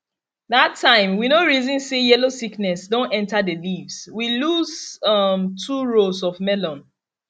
that time we no reason say yellow sickness don enter di leaves we lose um two rows of melon